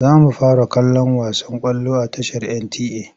Za mu fara kallon wasan ƙwallo a tashar NTA.